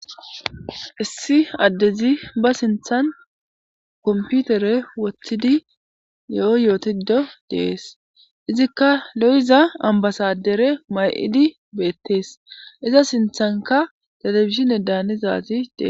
Issi adezi ba sinthani computere wothidi yo yootido de'es, izika lo'iza ambasadere mayidi betesi.iza sinthanka television danizaziy de'es.